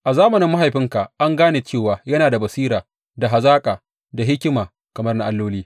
A zamanin mahaifinka an gane cewa yana da basira da hazaka da hikima kamar na alloli.